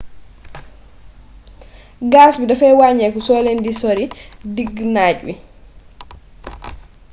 gas bi dafay waññeeku soo leen di sori diggu naaj wi